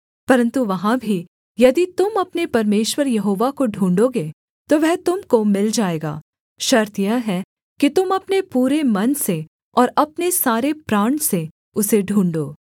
परन्तु वहाँ भी यदि तुम अपने परमेश्वर यहोवा को ढूँढ़ोगे तो वह तुम को मिल जाएगा शर्त यह है कि तुम अपने पूरे मन से और अपने सारे प्राण से उसे ढूँढ़ो